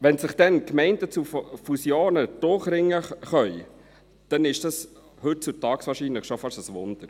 Wenn sich dann Gemeinden zu Fusionen durchringen können, dann ist dies heutzutage wahrscheinlich schon fast ein Wunder.